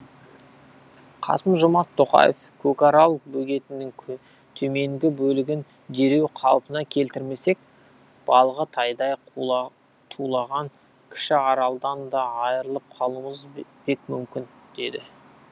қасым жомарт тоқаев көкарал бөгетінің төменгі бөлігін дереу қалпына келтірмесек балығы тайдай тулаған кіші аралдан да айырылып қалуымыз бек мүмкін деді